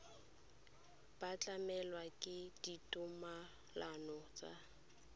ba tlamilwe ke ditumalano tsa